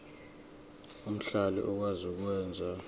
omhlali okwazi ukwenza